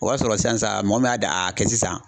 O b'a sɔrɔ sisan mɔgɔ min y'a da a kɛ sisan